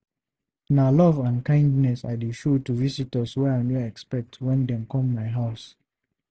Na love and kindness I dey show to visitors wey I no expect wen dem come my house.